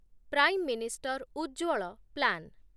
Prime minister Ujjwal plan